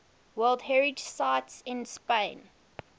world heritage sites in spain